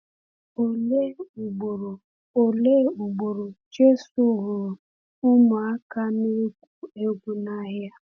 Òlee ugboro Òlee ugboro Jésù hụrụ ụmụaka na-egwu egwu n’ahịa?